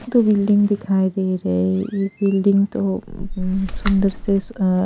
तो बिल्डिंग दिखाई दे रहे है एक बिल्डिंग तो अ अ अ सुंदर से--